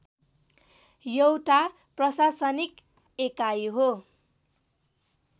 एउटा प्रशासनिक एकाइ हो